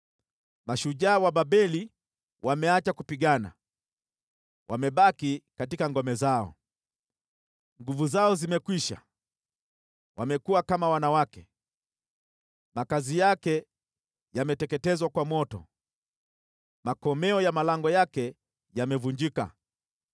Mashujaa wa Babeli wameacha kupigana, wamebaki katika ngome zao. Nguvu zao zimekwisha, wamekuwa kama wanawake. Makazi yake yameteketezwa kwa moto, makomeo ya malango yake yamevunjika.